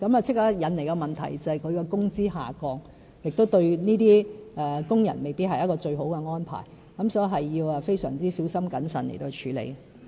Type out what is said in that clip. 但建議立刻引來工資下降的問題，對工人來說未必是一個最好的安排，所以這個問題要非常小心謹慎地處理。